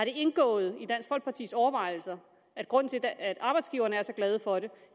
indgået i dansk folkepartis overvejelser at grunden til at arbejdsgiverne er så glade for det